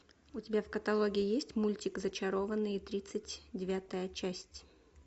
у тебя в каталоге есть мультик зачарованные тридцать девятая часть